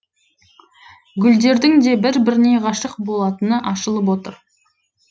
гүлдердің де бір біріне ғашық болатыны ашылып отыр